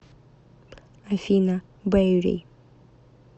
афина бэйри